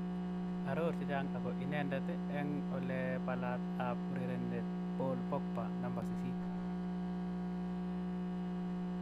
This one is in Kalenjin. Aror chechang ako inendet eng u: Olepalat ab urerenindet Paul Pogba 8.